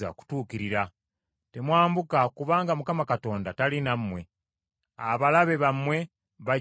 Temwambuka kubanga Mukama Katonda tali nammwe. Abalabe bammwe bajja kubawangula.